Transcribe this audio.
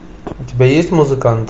у тебя есть музыкант